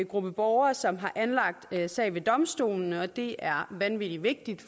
gruppe borgere som har anlagt sag ved domstolene og det er vanvittig vigtigt